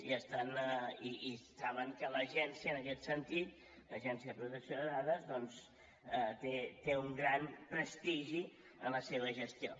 i saben que l’agència en aquest sentit l’agència de protecció de dades doncs té un gran prestigi en la seva gestió